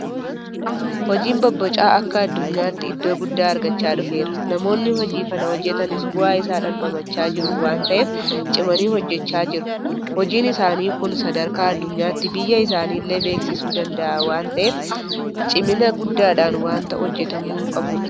Hojiin bobbocaa akka addunyaatti iddoo guddaa argachaa dhufeera. Namoonni hojii kana hojjetanis bu'aa isaa dhamdhamaa jiru waanta ta'eef cimanii hojjechaa jiru. Hojiin isaanii kun sadarkaa addunyaatti biyya isaaniillee beeksisuu danda'a waanta ta'eef cimina guddaadhaan waanta hojjetamuu qabudha.